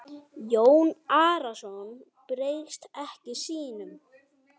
Jón Arason bregst ekki sínum.